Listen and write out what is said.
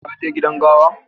ka je gidan gawa?